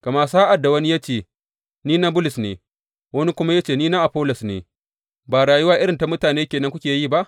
Gama sa’ad da wani ya ce, Ni na Bulus ne, wani kuma ya ce, Ni na Afollos ne, ba rayuwa irin ta mutane ke nan kuke yi ba?